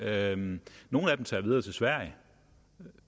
af dem tager videre til sverige